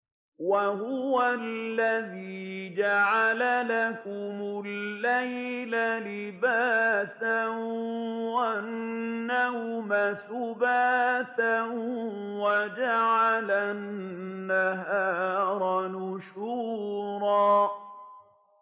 وَهُوَ الَّذِي جَعَلَ لَكُمُ اللَّيْلَ لِبَاسًا وَالنَّوْمَ سُبَاتًا وَجَعَلَ النَّهَارَ نُشُورًا